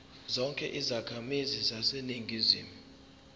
zonke izakhamizi zaseningizimu